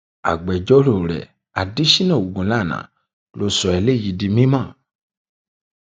agbẹjọrò rẹ adèsínà ogunlànà ló sọ eléyìí di mímọ